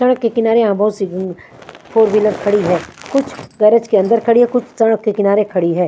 Truck के किनारे यहाँ बहोत सी ऊँ ऊ फोर विलर खड़ी है कुछ गैरेज के अंदर खड़ी और कुछ सड़क के किनारे खाड़ी है।